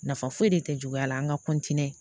Nafa foyi de tɛ juguya la an ka